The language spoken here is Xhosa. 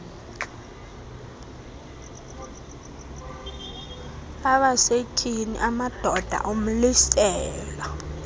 abasetyhini amadoda umlisela